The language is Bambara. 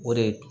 O de ye